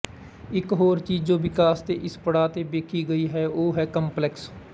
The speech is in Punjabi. ਇੱਕ ਹੋਰ ਚੀਜ਼ ਜੋ ਵਿਕਾਸ ਦੇ ਇਸ ਪੜਾਅ ਤੇ ਵੇਖੀ ਗਈ ਹੈ ਉਹ ਹੈ ਕੰਪਲੈਕਸ